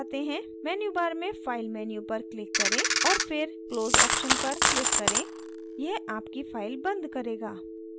menu bar में file menu पर click करें और फिर close option पर click करें यह आपकी file बंद करेगा